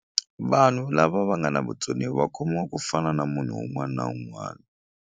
Vanhu lava va nga na vutsoniwa va khomiwa ku fana na munhu wn'wani na wun'wani.